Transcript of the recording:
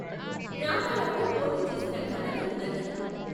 రామారావు పోటీ చేసిన ఘనత ఉన్నది.